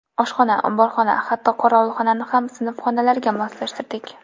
Oshxona, omborxona, hatto qorovulxonani ham sinf xonalariga moslashtirdik.